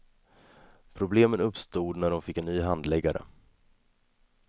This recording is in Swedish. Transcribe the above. Problemen uppstod när hon fick en ny handläggare.